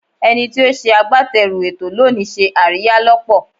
Ẹni tí ó ṣe agbátẹrù ètò lónìí ṣe àríyá lọ́pọ̀.